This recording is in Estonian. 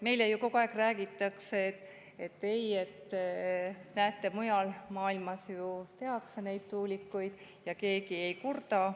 Meile ju kogu aeg räägitakse, et näete, mujal maailmas ju neid tuulikuid ja keegi ei kurda.